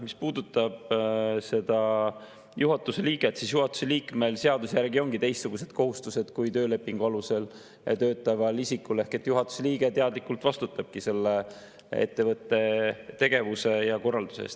Mis puudutab seda juhatuse liiget, siis juhatuse liikmel seaduse järgi ongi teistsugused kohustused kui töölepingu alusel töötaval isikul, ehk juhatuse liige teadlikult vastutabki selle ettevõtte tegevuse ja korralduse eest.